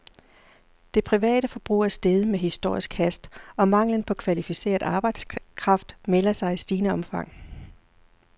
Det private forbrug er steget med historisk hast, og manglen på kvalificeret arbejdskraft melder sig i stigende omfang.